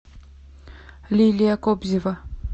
лилия кобзева